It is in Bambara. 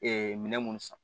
minɛn minnu san